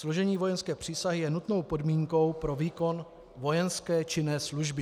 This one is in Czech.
Složení vojenské přísahy je nutnou podmínkou pro výkon vojenské činné služby.